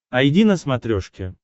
айди на смотрешке